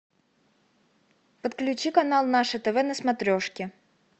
подключи канал наше тв на смотрешке